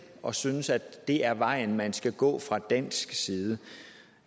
og synes at det er vejen man skal gå fra dansk side